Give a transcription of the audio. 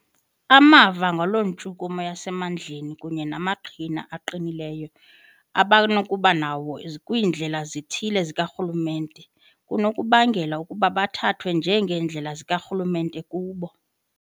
Amava ngaloo ntshukumo yasemandleni kunye namaqhina aqinileyo abanokuba nawo kwiindlela ezithile zikarhulumente kunokubangela ukuba bathathwe njengeendlela zikarhulumente kubo.